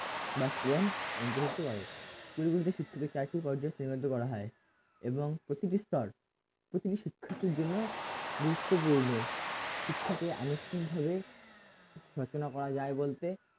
বাস্তবায়ন অন্তর্ভুক্ত করে পরিবর্তিত ক্ষেত্রতে চারটে পর্যায়ে শ্রেণীবদ্ধ করা হয় এবং প্রতিটি স্তর প্রতিটি শিক্ষার্থীর জন্য গুরুত্বপূর্ণ শিক্ষাকে আনুষ্ঠানিকভাবে রচনা করা যায় বলতে